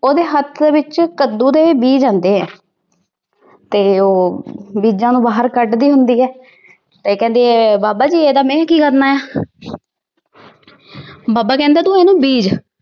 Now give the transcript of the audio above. ਉਹਦੇ ਹੱਥ ਵਿੱਚ ਕੱਦੂ ਦੇ ਬੀਜ ਆਉਂਦੇ ਐ ਤੇ ਉਹ ਬੀਜਾਂ ਨੂੰ ਬਾਹਰ ਕੱਢਦੀ ਹੁੰਦੀ ਐ। ਤੇ ਕਹਿੰਦੀ ਬਾਬਾ ਜੀ ਇਹਦਾ ਮੈ ਕੀ ਕਰਨਾ ਆ? ਬਾਬਾ ਕਹਿੰਦਾ ਤੂੰ ਇਹਨੂੰ ਬੀਜ।